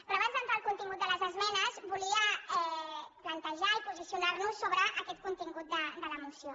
però abans d’entrar al contingut de les esmenes volia plantejar i posicio·nar·nos sobre aquest contingut de la moció